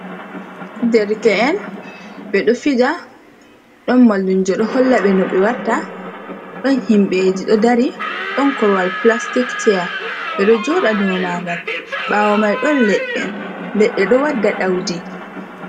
Derke’en ɓeɗo fija ɗon mallumjo ɗo holla ɓe no ɓe watt, ɗon himɓeji ɗo dari ɗon korwal plastik ceya, ɓeɗo joɗa do magal ɓawo mai ɗon leɗɗe, leɗɗe ɗo wadda daudi.